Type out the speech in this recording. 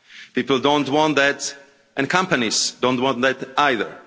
People don't want that and companies don't want it either.